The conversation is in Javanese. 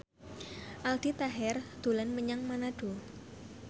Aldi Taher dolan menyang Manado